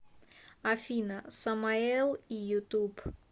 афина самаэл и ютуб